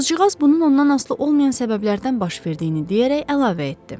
Qızcığaz bunun ondan asılı olmayan səbəblərdən baş verdiyini deyərək əlavə etdi.